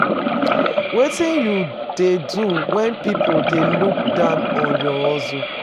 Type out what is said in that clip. Wetin you dey do when people dey look down on your hustle?